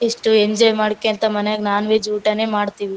ಎಷ್ಟು ಎಂಜೋಯ್ ಮಾಡಕೆಂತಾ ಮನೆಗ್ ನೋನ್ ವೆ‌ಜ್ ಊಟನೆ ಮಾಡತ್ತಿವಿ.